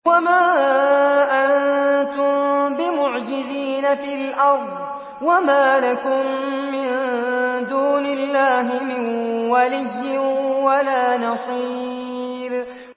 وَمَا أَنتُم بِمُعْجِزِينَ فِي الْأَرْضِ ۖ وَمَا لَكُم مِّن دُونِ اللَّهِ مِن وَلِيٍّ وَلَا نَصِيرٍ